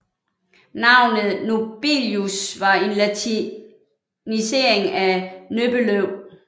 Navnet Nobelius var en latinisering af Nöbbelöv